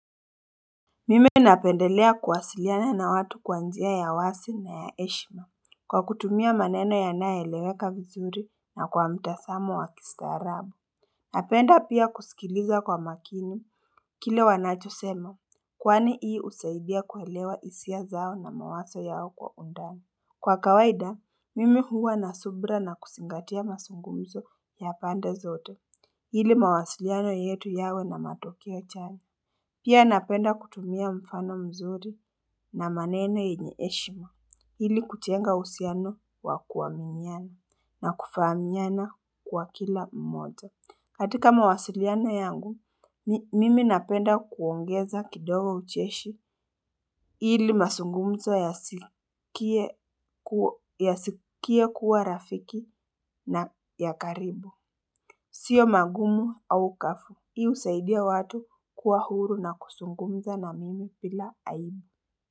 Mimi napendelea kuwasiliana na watu kwanjia ya wasi na ya eshima kwa kutumia maneno ya naeleweka vizuri na kwa mtasamo wa kistarabu Napenda pia kusikiliza kwa makini kile wanacho sema kwani hii usaibia kuelewa isia zao na mawaso yao kwa undani Kwa kawaida mimi huwa na subra na kusingatia masungumzo ya pande zote hili mawasiliano yetu yao na matokeo chanya Pia napenda kutumia mfano mzuri na maneno inyeeshima hili kutenga usiano wa kuwa minyana na kufa minyana kwa kila mmoja. Katika mawasiliana yangu, mimi napenda kuongeza kidogo ucheshi hili masungumzo ya sikie kuwa rafiki na ya karibu. Sio magumu au kafu. Hiu usaidia watu kuwa huru na kusungumza na mimi pila aibu.